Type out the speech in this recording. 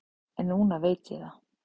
En núna veit ég það.